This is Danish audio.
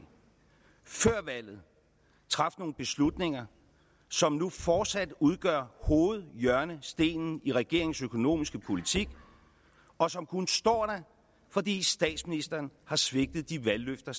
før valget traf nogle beslutninger som nu fortsat udgør hovedhjørnestenen i regeringens økonomiske politik og som kun står der fordi statsministeren har svigtet de valgløfter